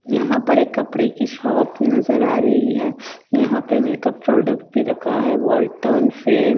यहां पर एक कपड़े की शॉप नजर आ रही है यहां पे मेकअप प्रोडक्ट भी रखा है वॉल्टन फ्रेम --